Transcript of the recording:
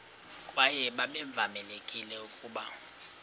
kwaye babevamelekile ukuba